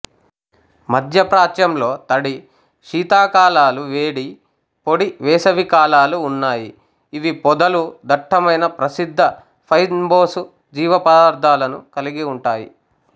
మధ్యప్రాచ్యంలో తడి శీతాకాలాలు వేడి పొడి వేసవికాలాలు ఉన్నాయి ఇవి పొదలు దట్టమైన ప్రసిద్ధ ఫైన్బోసు జీవపదార్ధాలను కలిగి ఉంటాయి